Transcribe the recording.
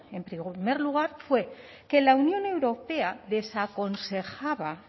en primer lugar fue que la unión europea desaconsejaba